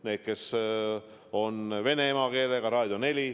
Need, kes on vene emakeelega, kuulavad Raadio 4.